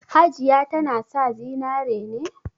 Hajiya tana sa zinare ne?